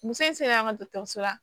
Muso in sera an ka dɔgɔtɔrɔso la